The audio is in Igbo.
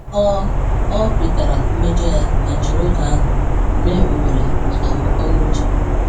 Ọ Ọ kwetara mmejọ ya ma jiri oge ahụ mee ohere maka uto n’uche.